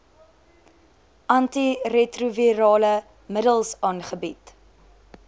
antiretrovirale middels aangebied